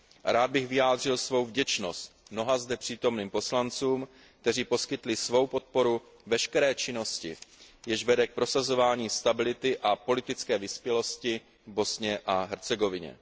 A rád bych vyjádřil svou vděčnost mnoha zde přítomným poslancům, kteří poskytli svou podporu veškeré činnosti, jež vede k prosazování stability a politické vyspělosti v Bosně a Hercegovině.